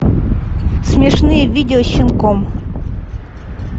смешные видео с щенком